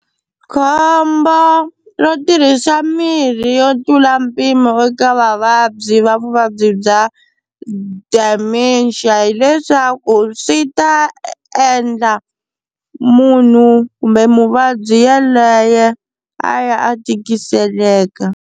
Khombo ro tirhisa mirhi yo tlula mpimo eka vavabyi va vuvabyi bya Dementia hileswaku swi ta endla munhu kumbe muvabyi yaloye a ya a tikiseleka.